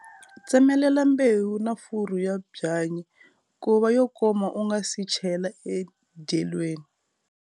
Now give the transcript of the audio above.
Tsemelela mbewu na furu ya byanyi ku va yo koma u nga si chela endyelweni.